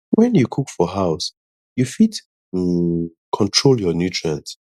when you cook for house you fit um control your nutrient